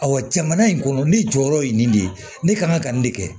jamana in kɔnɔ ne jɔyɔrɔ ye nin de ye ne kan ka nin de kɛ